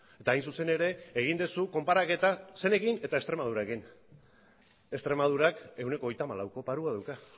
eta hain zuzen ere egin duzu konparaketa zeinekin eta extremadurarekin extremadurak ehuneko hogeita hamalauko paroa dauka